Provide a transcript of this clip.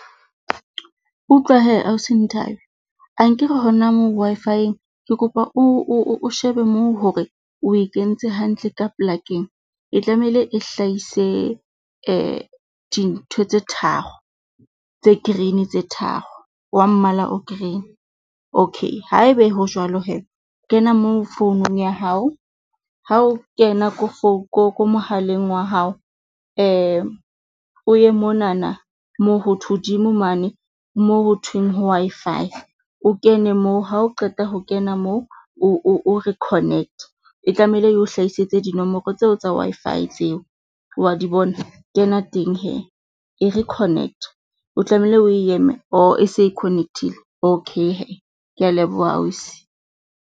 Utlwa hee ausi Nthabi ankere hona moo Wi-Fi-eng ke kopa o shebe moo hore o e kentse hantle ka polakeng. E tlamehile e hlahise dintho tse tharo tse green, tse tharo wa mmala o green. Okay, haebe ho jwalo hee kena mo founung ya hao. Ha o kena, ko ko mohaleng wa hao o ye monana moo ho hodimo mane moo ho thweng ho Wi-Fi, o kene moo ha o qeta ho kena moo o re connect e tlamehile eo hlahisitse dinomoro tseo tsa Wi-Fi tseo wa di bona? Kena teng hee e re connect. O tlamehile o e oho ese e connect-ile? Okay hee, ke a leboha ausi.